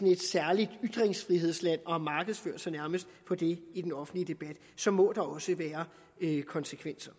et særligt ytringsfrihedsland og nærmest har markedsført sig på det i den offentlige debat så må der også være konsekvenser